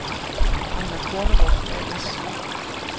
Einar Kornerup A/S